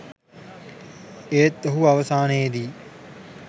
ඒත් ඔහු අවසානයේදී